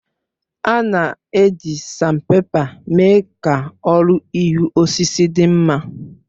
A na-eji Sanpèpa mee ka ọrụ ihu osisi dị mma